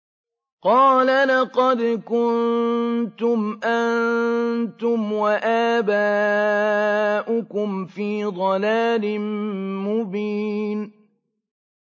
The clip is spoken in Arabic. قَالَ لَقَدْ كُنتُمْ أَنتُمْ وَآبَاؤُكُمْ فِي ضَلَالٍ مُّبِينٍ